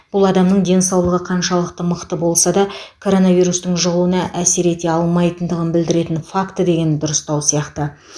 бұл адамның денсаулығы қаншалықты мықты болса да коронавирустың жұғуына әсер ете алмайтындығын білдіретін факті деген дұрыстау сияқты